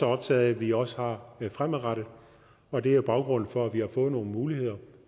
optaget af at vi også har fremadrettet og det er baggrunden for at vi har fået nogle muligheder